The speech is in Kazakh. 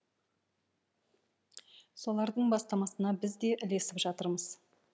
солардың бастамасына біз де ілесіп жатырмыз